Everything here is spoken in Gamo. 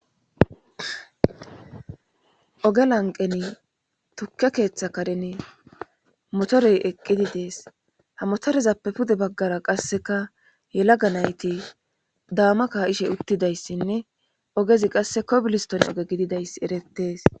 oge lanqeni tukke keeththa karen motorey eqqidi dees ha motorezappe pude baggara qasseka yelaga nayti daama ka7ishe uttidayssinne ogezi qasse kobiliston oge gididayssi erettees